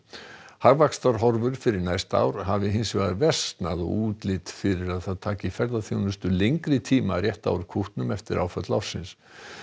hagvaxtarhorfur fyrir næsta ár hafi hins vegar versnað og útlit fyrir að það taki ferðaþjónustu lengri tíma að rétta úr kútnum eftir áföll ársins